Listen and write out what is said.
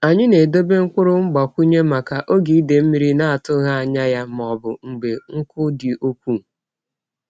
Anyị na-edobe mkpụrụ mgbakwunye maka oge idei mmiri na-atụghị anya ya ma ọ bụ mgbe nkụ dị ukwuu.